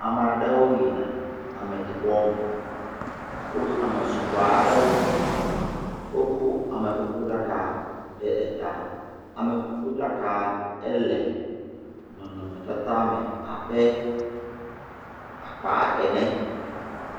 Ama ɖewo yina ameɖibɔ me. Wo ame sugbɔ aɖewo, wokɔ amekukuɖaka ɖe taa. Amekukuɖaka le nɔnɔmetata me abe akpaa ene.